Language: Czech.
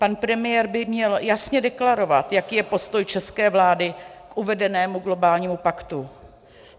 Pan premiér by měl jasně deklarovat, jaký je postoj české vlády k uvedenému globálnímu paktu.